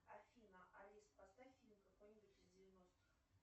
афина алиса поставь фильм какой нибудь из девяностых